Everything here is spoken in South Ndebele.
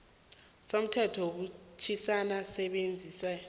somthetho wekomitjhana yezabasebenzi